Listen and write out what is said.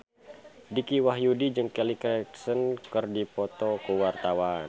Dicky Wahyudi jeung Kelly Clarkson keur dipoto ku wartawan